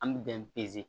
An bɛ bɛn pe